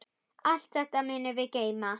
Allt þetta munum við geyma.